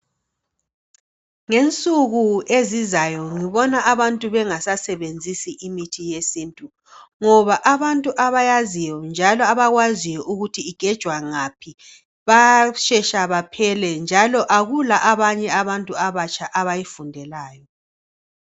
Ngensuku ezizayo ngibona abantu bengasasebenzisi imithi yesintu ngoba abantu abayaziyo njalo abakwaziyo ukuthi igejwa ngaphi bayashesha baphele ,njalo akula abanye abantu abatsha abayifundelayo